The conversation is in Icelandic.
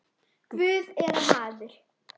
Guð eða maður?